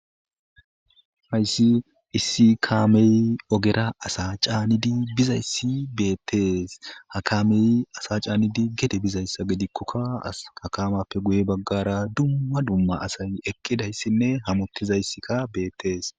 Hayssi issi kaamey ogera asa caanidi bizayssi beettees hakamey asa caanidi gede bizayssa gidikkokka hakamappe guye baggara dumma dumma asay eqqidayssinne hamottizayssika beettees.